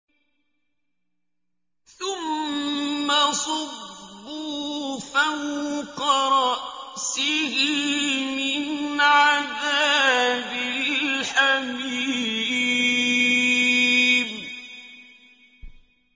ثُمَّ صُبُّوا فَوْقَ رَأْسِهِ مِنْ عَذَابِ الْحَمِيمِ